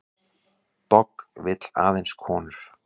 Dogg vill aðeins konur